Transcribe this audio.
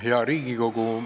Hea Riigikogu!